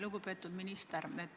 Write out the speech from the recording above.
Lugupeetud minister!